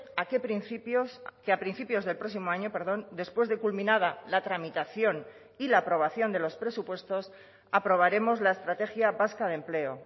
a qué principios que a principios del próximo año perdón después de culminada la tramitación y la aprobación de los presupuestos aprobaremos la estrategia vasca de empleo